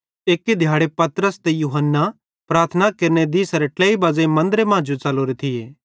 एक्की दिहाड़े पतरस ते यूहन्ना प्रार्थना केरने दिसेरे ट्लेई बज़ेइं मन्दरे मां जो च़लोरे थिये